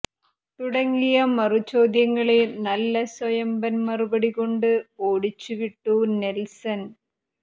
തുട ങ്ങിയ മറുചോദ്യങ്ങളെ നല്ല സൊയമ്പൻ മറുപടിെകാണ്ട് ഒാടിച്ചുവിട്ടു നെൽസൻ